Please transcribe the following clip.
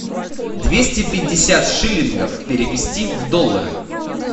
двести пятьдесят шиллингов перевести в доллары